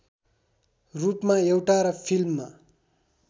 रूपमा एउटा र फिल्ममा